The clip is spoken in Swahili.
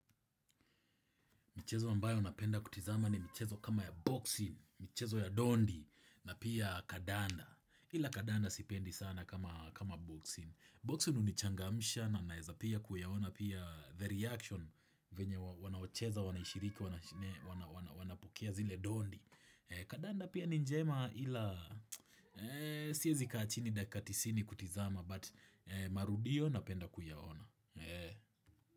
Michezo ambayo napenda kutizama ni michezo kama ya boxing, michezo ya dondi na pia kadanda. Ila kadanda sipendi sana kama kama boxing. Boxing hunichangamsha na naeza pia kuyaona pia the reaction venye wanaocheza, wanaishiriki, wana wana wanapokea zile dondi. Kadanda pia ni njema ila siezi kaa chini dakika tisini kutizama but marudio napenda kuyaona.